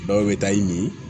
Dɔw bɛ taa i ni